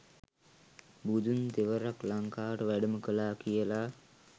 බුදුන් තෙවරක් ලංකාවට වැඩම කළා කියලා